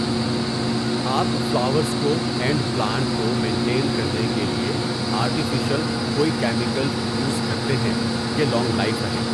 آپ فلاورز کو and plant کو مینٹین کرنے کے لئے آرٹیفیشل کوئی کیمیکلز یُوز کرتے ہیں کہ لانگ لائف رہیں.